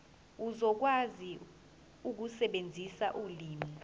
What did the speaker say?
uzokwazi ukusebenzisa ulimi